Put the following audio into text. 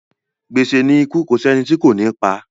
Gbèsè ni ikú kò sí ẹni tí kò ní pa.